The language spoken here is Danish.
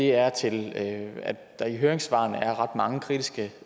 er til at der i høringssvarene er ret mange kritiske